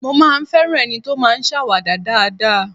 Mo máa ń ń fẹ́ràn ẹni tó máa ń ṣàwàdà dáadáa